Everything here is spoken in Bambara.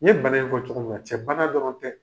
N ye bana in fɔ cogo mi na cɛ bana dɔrɔn tɛ